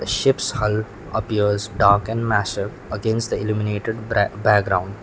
ship's hull appears dark and massive against the illuminated brac background.